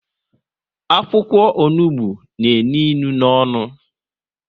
Akwụkwọ onugbu n'enu inu n'onu